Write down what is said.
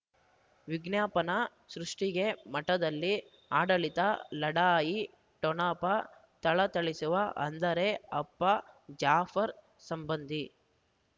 ವಿಜ್ಞಾಪನ ಸೃಷ್ಟಿಗೆ ಮಠದಲ್ಲಿ ಆಡಳಿತ ಲಢಾಯಿ ಠೊಣಪ ಥಳಥಳಿಸುವ ಅಂದರೆ ಅಪ್ಪ ಜಾಫರ್ ಸಂಬಂಧಿ